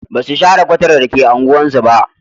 Ba su share kwatar da take unguwarsu ba.